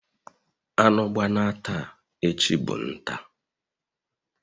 Anu gbana taa, echi bu nta..